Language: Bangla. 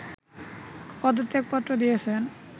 পদত্যাগপত্র দিয়েছেন